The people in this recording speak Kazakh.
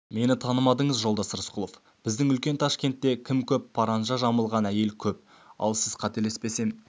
мені танымадыңыз жолдас рысқұлов біздің үлкен ташкентте кім көп паранжа жамылған әйел көп ал сіз қателеспесем